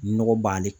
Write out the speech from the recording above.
Nɔgɔ b'ale